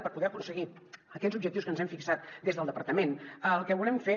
per poder aconseguir aquests objectius que ens hem fixat des del departament el que volem fer